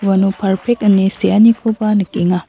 uano parpek ine seanikoba nikenga.